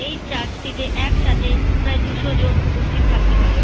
এই চার্চ -টি তে একসাথে প্রায় দুশো জন উপস্থিত থাকতে পারে ।